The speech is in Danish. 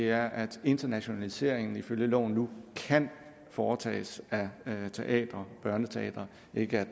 er at internationaliseringen ifølge loven nu kan foretages af teatre og børneteatre ikke